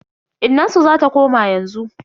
Innansu zata koma yanzu.